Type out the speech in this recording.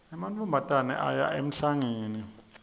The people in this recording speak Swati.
emantfombatane aya emhlangeni